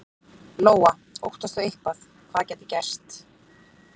Lóa: Óttastu eitthvað, hvað gæti gerst?